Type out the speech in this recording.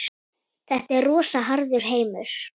Þetta er rosa harður heimur.